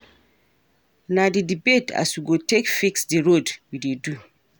Na di debate as we go take fix di road we dey do.